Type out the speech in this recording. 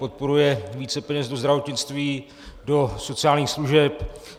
Podporuje více peněz do zdravotnictví, do sociálních služeb.